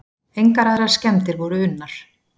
Engar aðrar skemmdir voru unnar